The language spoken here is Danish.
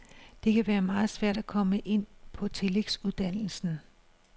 Det kan være meget svært at komme ind på tillægsuddannelsen.